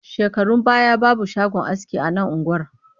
Shekarun baya babu shagon aski a nan unguwar